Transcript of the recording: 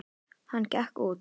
Hann gekk út.